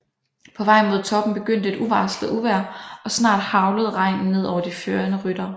På vej mod toppen begyndte et uvarslet uvejr og snart haglede regnen ned over de førende ryttere